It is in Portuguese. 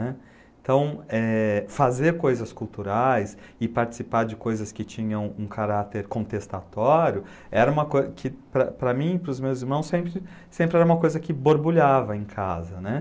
né. Então eh, fazer coisas culturais e participar de coisas que tinham um caráter contestatório era uma coisa que, para para para mim e para os meus irmãos, sempre sempre era uma coisa que borbulhava em casa, né.